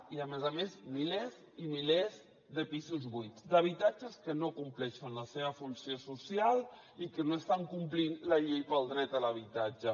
i a més a més milers i milers de pisos buits d’habitatges que no compleixen la seva funció social i que no estan complint la llei pel dret a l’habitatge